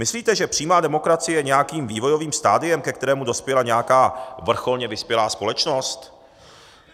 Myslíte, že přímá demokracie je nějakým vývojovým stadiem, ke kterému dospěla nějaká vrcholně vyspělá společnost?